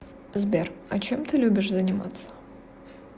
сбер а чем ты любишь заниматься